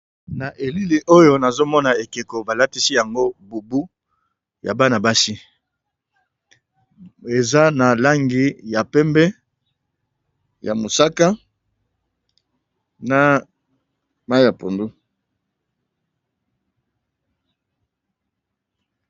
Na elili oyo nazomona ekeko balakisi yango bubu ya Bana basi eza na langi ya pembe, mosaka na pondu.